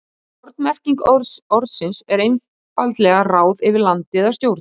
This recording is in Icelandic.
Má þar sennilega kenna um minna fæðuframboði í hafinu.